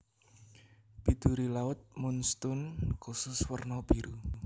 Biduri laut moonstone kusus werna biru